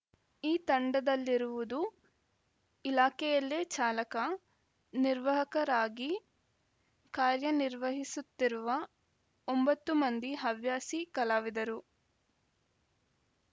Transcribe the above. ಈ ತಂಡದಲ್ಲಿರುವುದು ಇಲಾಖೆಯಲ್ಲೇ ಚಾಲಕ ನಿರ್ವಾಹಕರಾಗಿ ಕಾರ್ಯ ನಿರ್ವಹಿಸುತ್ತಿರುವ ಒಂಬತ್ತು ಮಂದಿ ಹವ್ಯಾಸಿ ಕಲಾವಿದರು